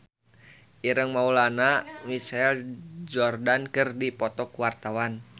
Ireng Maulana jeung Michael Jordan keur dipoto ku wartawan